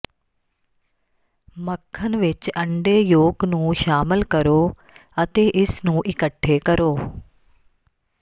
ਮੱਖਣ ਵਿੱਚ ਅੰਡੇ ਯੋਕ ਨੂੰ ਸ਼ਾਮਲ ਕਰੋ ਅਤੇ ਇਸ ਨੂੰ ਇਕੱਠੇ ਕਰੋ